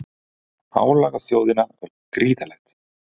Álagið á þjóðina var gríðarlegt